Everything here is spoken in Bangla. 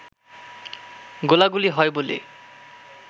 গোলাগুলি হয় বলে